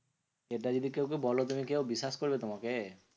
এটা যদি কাউকে বোলো তুমি কেউ বিশ্বাস করবে তোমাকে?